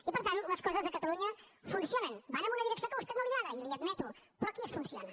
i per tant les coses a catalunya funcionen van en una direcció que a vostè no li agrada i li ho admeto però aquí es funciona